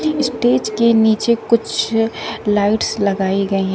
Stage के नीचे कुछ लाइट्स लगाई गई हैं।